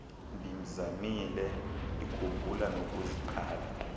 ndimzamile ndikhumbula nokuziqala